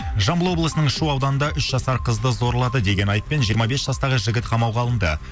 жамбыл облысының шу ауданында үш жасар қызды зорлады деген айыппен жиырма бес жастағы жігіт қамауға алынды